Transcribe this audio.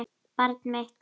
Barn mitt.